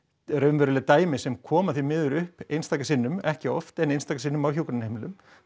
raunveruleg dæmi sem koma upp einstaka sinnum ekki oft en einstaka sinnum á hjúkrunarheimilum